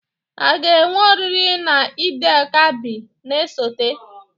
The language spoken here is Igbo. A ga-enwe oriri na Eid-el-Kabir na-esote?